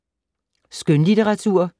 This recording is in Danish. Skønlitteratur